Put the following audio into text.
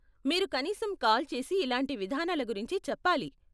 మీరు కనీసం కాల్ చేసి ఇలాంటి విధానాల గురించి చెప్పాలి.